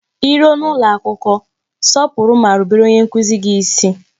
I ruo n'ụlọ akwụkwọ, sọpụrụ ma rubere onye nkuzi gị isi